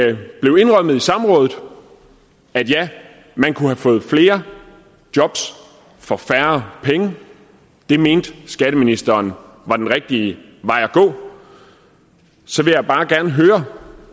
det blev indrømmet på samrådet at man kunne have fået flere jobs for færre penge det mente skatteministeren var den rigtige vej at gå så vil jeg bare gerne høre